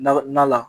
Na la